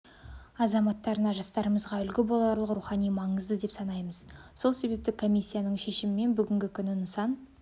азаматтарына жастарымызға үлгі боларлық рухани маңызды деп санаймыз сол себепті комиссияның шешімімен бүгінгі күні нысан